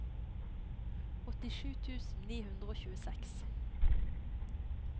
åttisju tusen ni hundre og tjueseks